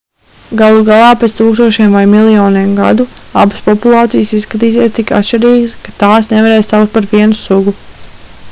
galu galā pēc tūkstošiem vai miljoniem gadu abas populācijas izskatīsies tik atšķirīgas ka tās nevarēs saukt par vienu sugu